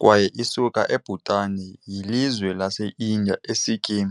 kwaye isuka eBhutan yilizwe laseIndiya iSikkim .